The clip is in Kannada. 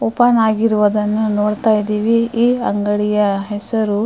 ಓಪನ್ ಆಗಿರುವುದನ್ನು ನೋಡ್ತಾ ಇದ್ದಿವಿ ಈ ಅಂಗಡಿಯ ಹೆಸರು --